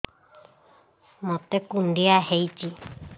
ମୋତେ କୁଣ୍ଡିଆ ହେଇଚି